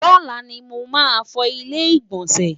lọla ní mọ má fọ ilé igbọnsẹ?